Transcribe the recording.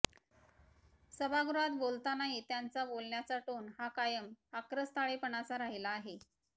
सभागृहात बोलतानाही त्यांच्या बोलण्याचा टोन हा कायम आक्रस्ताळेपणाचा राहिला आहे